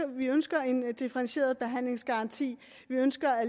vi ønsker en differentieret behandlingsgaranti vi ønsker at